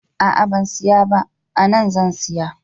A'a ban siya ba, ana zan siya